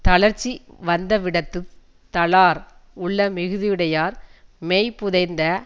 தளர்ச்சி வந்தவிடத்துத் தளார் உள்ள மிகுதியுடையார் மெய் புதைந்த